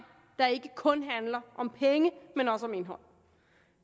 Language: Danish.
der ikke kun handler om penge men også om indhold